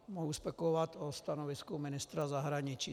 Mohu spekulovat o stanovisku ministra zahraničí.